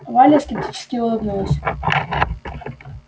валя скептически улыбнулась